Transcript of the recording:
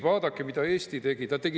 Vaadake, mida Eesti tegi!